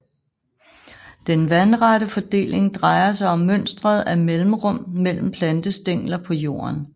Den vandrette fordeling drejer sig om mønstret af mellemrum mellem plantestængler på jorden